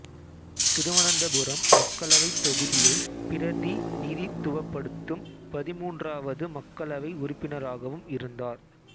திருவனந்தபுரம் மக்களவைத் தொகுதியைப் பிரதிநிதித்துவப்படுத்தும் பதின்மூன்றாவது மக்களவை உறுப்பினராகவும் இருந்தார்